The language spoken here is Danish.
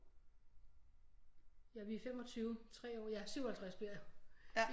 Ja vi er i 25 3 år ja 57 bliver jeg